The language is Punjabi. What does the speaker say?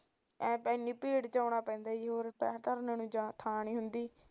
ਐਨੀ ਭੀੜ ਚ ਆਉਣਾ ਪੈਂਦਾ ਪੈਰ ਧਰਨੇ ਨੂੰ ਥਾਂ ਨੀ ਹੁੰਦੀ